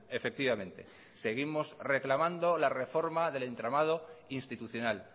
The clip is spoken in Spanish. efectivamente seguimos reclamando la reforma del entramado institucional